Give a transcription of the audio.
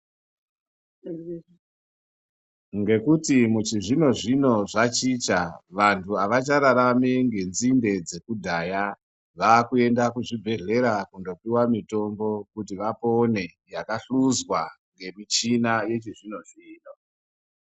Ngekuti muchizvino-zvino zvachicha ,vantu avachararami ngedzinde dzekudhaya, vakuenda kuzvichibhedhlera kundopuwa mitombo, kuti vapone yakahluzwa ngemichina yechizvino-zvino.